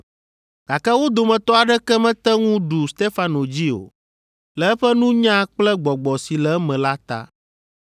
Gake wo dometɔ aɖeke mete ŋu ɖu Stefano dzi o, le eƒe nunya kple gbɔgbɔ si le eme la ta.